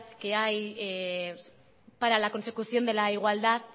que hay para la consecución de la igualdad